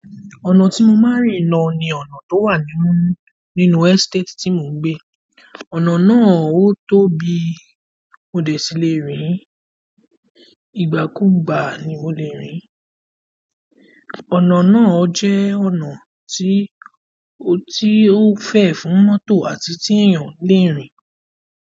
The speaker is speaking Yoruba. Ọ̀nà tí mo máa ń rìn lọ ni ọ̀nà tó wà nínú, nínú estate tí mo ń gbé. Ọ̀nà náà ó tó bi òde sílè rìn, ìgbà kúù gbà ni mo lè rìn. Ọ̀nà náà jẹ́ ọ̀nà tí, tí ó fẹ̀ fún mọ́tò àti tí èèyàn le rìn.